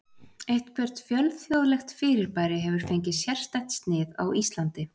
eitthvert fjölþjóðlegt fyrirbæri hefur fengið sérstætt snið á íslandi